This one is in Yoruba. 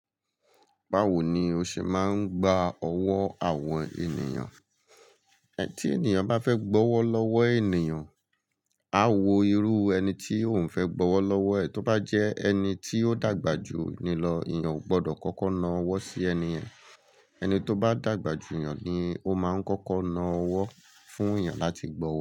Báwo ni o ṣe máa ń gba ọwọ́ àwọn ènìyàn? Ẹ̀ tí ènìyàn bá fẹ́ gbọ́wọ́ lọ́wọ́ ènìyàn, a wo irú ẹni tí òun fẹ́ gbọ́wọ́ lọ́wọ́ ẹ̀. Tó bá jẹ́ ẹni tí ó dàgbà jù ni lọ, ènìyàn ò gbọdọ̀ kókó na ọwọ́ sí ẹni ẹ̀. Ẹni tó bá dàgbà jù ènìyàn ni ó máa ń kókó na ọwọ́ fún ènìyàn láti gbọ́wo.